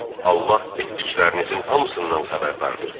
Allah etdiklərinizin hamısından xəbərdardır.